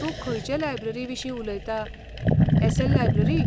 तूं खंयचे लायब्ररीविशीं उलयता, एस.एल. लायब्ररी?